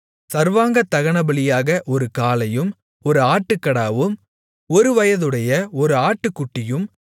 சர்வாங்கதகனபலியாக ஒரு காளையும் ஒரு ஆட்டுக்கடாவும் ஒருவயதுடைய ஒரு ஆட்டுக்குட்டியும்